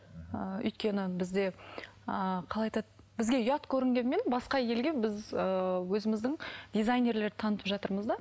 ыыы өйткені бізде ыыы қалай айтады бізге ұят көрінгенмен басқа елге біз ыыы өзіміздің дизайнерлерді танытып жатырмыз да